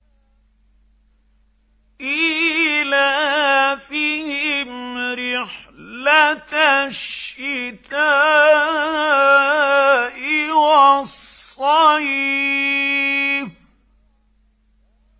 إِيلَافِهِمْ رِحْلَةَ الشِّتَاءِ وَالصَّيْفِ